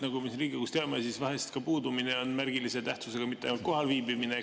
Nagu me siin Riigikogus teame, siis vahel on ka puudumine märgilise tähtsusega, mitte ainult kohalviibimine.